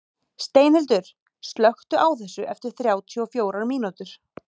Steinhildur, slökktu á þessu eftir þrjátíu og fjórar mínútur.